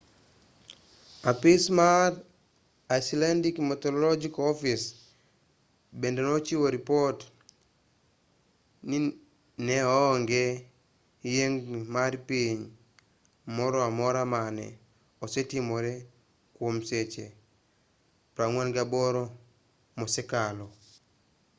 apis mar icelandic meteorological office bende nochiwo ripot ni ne onge yiengni mar piny moro amora mane osetimore kwom seche 48 mosekalo